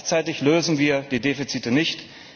Gleichzeitig lösen wir die Defizite nicht.